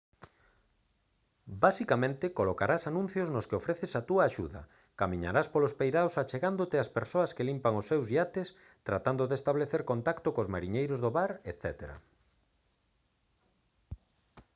basicamente colocarás anuncios nos que ofreces a túa axuda camiñarás polos peiraos achegándote ás persoas que limpan os seus iates tratando de establecer contacto cos mariñeiros no bar etc